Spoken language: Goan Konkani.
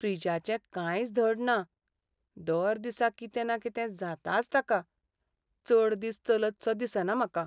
फ्रिजाचें कांयच धड ना, दर दिसा कितें ना कितें जाताच ताका, चड दीस चलतसो दिसना म्हाका.